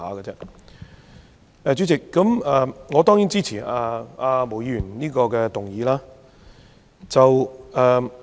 代理主席，我當然支持毛議員這項議案。